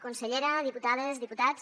consellera diputades diputats